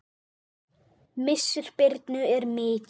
Missir Birnu er mikill.